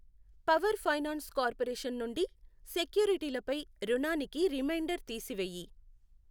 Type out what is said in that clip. Power finance corporation నుండి సెక్యూరిటీలపై రుణానికి రిమైండర్ తీసి వేయి.